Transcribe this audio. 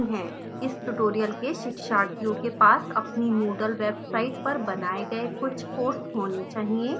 इस tutorial के शिक्षार्थियों के पास अपनी moodle website पर बनाए गए कुछ courses होने चाहिए